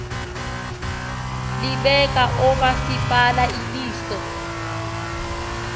libeka oomasipala iliso